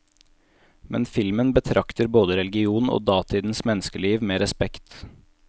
Men filmen betrakter både religion og datidens menneskeliv med respekt.